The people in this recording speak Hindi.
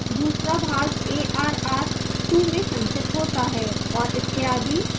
दूसरा भाग arr 2 में संचित होता है और इत्यादि